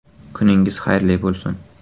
Kuningiz xayrli bo‘lsin.